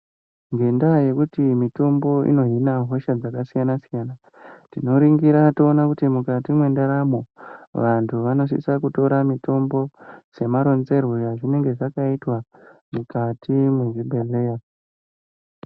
Ngendaa yekuti mutombo inozvina hosha dzakasiyana siyana tinoningira toone kuti vantu mukati mendaramo, vantu vanositse kutorwa mitombo nemaronzerwo azvakaitwa mukati mezvibhedhleya